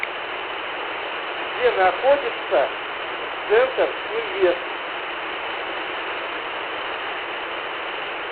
где находится центр инвест